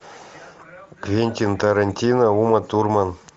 квентин тарантино ума турман